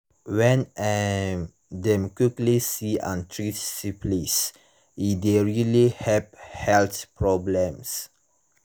when um dem quickly see and treat syphilis e de really help health problems